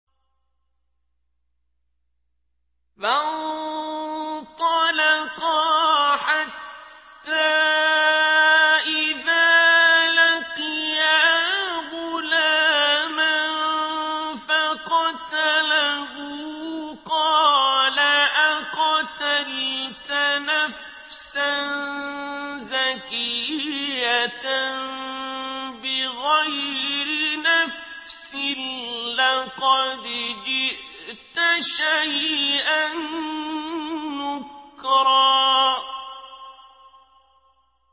فَانطَلَقَا حَتَّىٰ إِذَا لَقِيَا غُلَامًا فَقَتَلَهُ قَالَ أَقَتَلْتَ نَفْسًا زَكِيَّةً بِغَيْرِ نَفْسٍ لَّقَدْ جِئْتَ شَيْئًا نُّكْرًا